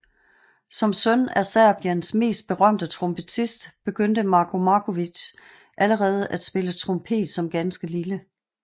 Som søn af Serbiens mest berømte trompetist begyndte Marko Marković allerede at spille trompet som ganske lille